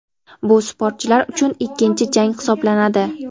bu sportchilar uchun ikkinchi jang hisoblanadi.